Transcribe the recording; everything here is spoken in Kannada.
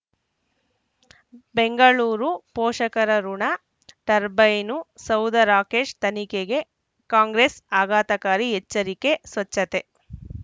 ಬೆಂಗಳೂರು ಪೋಷಕರಋಣ ಟರ್ಬೈನು ಸೌಧ ರಾಕೇಶ್ ತನಿಖೆಗೆ ಕಾಂಗ್ರೆಸ್ ಆಘಾತಕಾರಿ ಎಚ್ಚರಿಕೆ ಸ್ವಚ್ಛತೆ